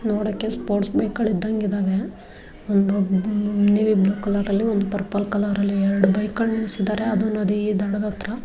ನೋಡಕ್ಕೆ sports bike ಗಳ್ ಇದ್ದಂಗಿದಾವೆ ನೀಲಿ ಬ್ಲೂ ಕಲರ್ ಅಲ್ಲಿ ಒಂದು ಪರ್ಪಲ್ ಕಲರ್ ಅಲ್ಲಿ ಎರಡು ಬೈಕ್ ಗಳ್ ನಿಲ್ಸಿದ್ದಾರೆ ಅದು ನದಿ ದಡದ ಹತ್ರ.